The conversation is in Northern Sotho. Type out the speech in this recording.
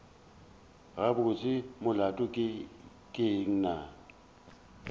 gabotse molato ke eng na